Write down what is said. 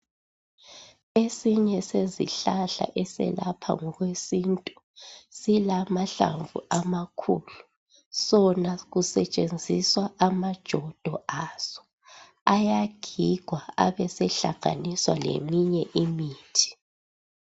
Esinye sezihlahla eselapha okwesintu silamahlamvu amakhulu sona sisetshenziswaamajodo aso ayagigwa abesehlanganiswa leminye imithi